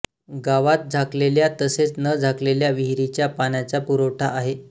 गावात झाकलेल्या तसेच न झाकलेल्या विहिरीच्या पाण्याचा पुरवठा आहे